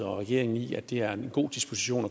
og regeringen i at det er en god disposition